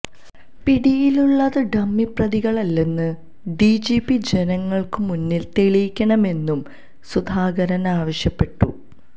പിടിയിലുളളത് dummy പ്രതികളല്ലെന്ന് DGP ജനങ്ങള്ക്ക് മുന്നില് തെളിയിക്കണമെന്നും സുധാകരന് ആവശ്യപ്പെട്ടു